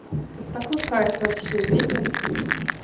тут такой кайф вообще ветер